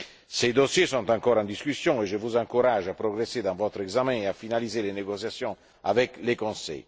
Ces dossiers sont encore en discussion et je vous encourage à progresser dans votre examen et à finaliser les négociations avec le Conseil.